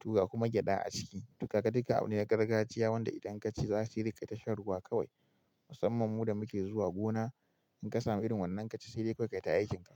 toga kuma gyada a ciki. To kaga dukka abu ne na gargajiya wanda idan ka ci za sai dai kaita shan ruwa kawai. Musamman mu da muke zuwa gona, in ka samu irin wannan ka ci sai dai kawai kayi ta aikinka.